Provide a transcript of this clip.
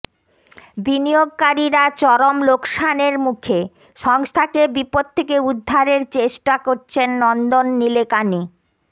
বিনিয়োগকারীরা চরম লোকসানের মুখে সংস্থাকে বিপদ থেকে উদ্ধারের চেষ্টা করছেন নন্দন নিলেকানি